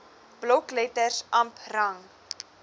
blokletters amp rang